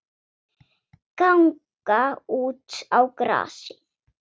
Ganga út á grasið.